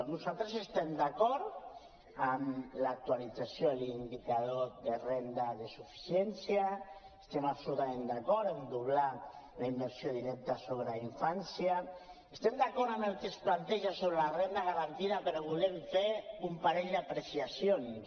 nosaltres estem d’acord amb l’actualització de l’indicador de renda de suficiència estem absolutament d’acord amb doblar la inversió directa sobre infància estem d’acord amb el que es planteja sobre la renda garantida però volem fer un parell d’apreciacions